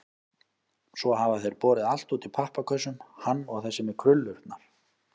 Svo hafa þeir borið allt út í pappakössum, hann og þessi með krullurnar.